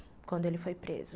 quando ele foi preso.